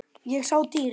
Ég sá dýrið.